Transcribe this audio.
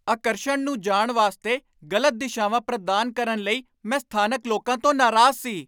ਆਕਰਸ਼ਣ ਨੂੰ ਜਾਣ ਵਾਸਤੇ ਗ਼ਲਤ ਦਿਸ਼ਾਵਾਂ ਪ੍ਰਦਾਨ ਕਰਨ ਲਈ ਮੈਂ ਸਥਾਨਕ ਲੋਕਾਂ ਤੋਂ ਨਾਰਾਜ਼ ਸੀ।